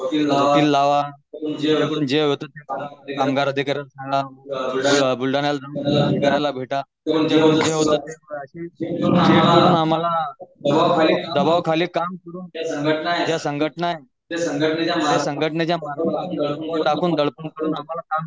वकील लावा जे गॅंग अधिकारी लाव दडपणाखाली काम करून संघटन संघटन